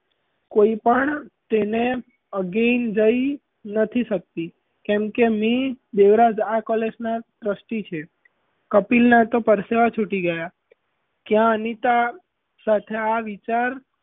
કોઈ પણ તેને again જઈ નથી સકતી કેમ કે મી. દેવરાજ college નાં trusty છે કપિલનાં તો પરસેવા છૂટી ગયાં ક્યાં અનિતા સાથે આ વિચાર,